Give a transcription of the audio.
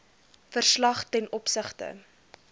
verslag ten opsigte